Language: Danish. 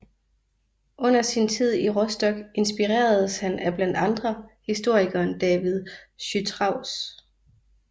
Under sin tid i Rostock inspireredes han af blandt andre historikeren David Chytraeus